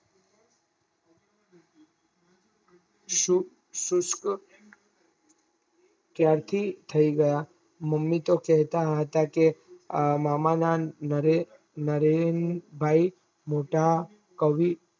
ક્યાંથી થઇ ગયા મમ્મી તોહ કેહતા હતા કે મામા ના નરેનભાઇ નોટા કવિ